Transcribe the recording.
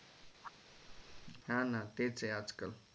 हा ना तेच हे आजकाल